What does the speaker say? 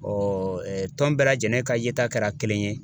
Ɔɔ ɛɛ tɔn bɛɛ lajɛlen ka ye ta kɛra kelen ye